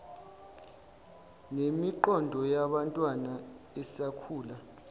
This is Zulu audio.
nemiqondo yabantwana esakhula